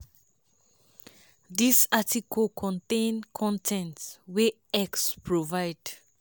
dis article contain con ten t wey x provide.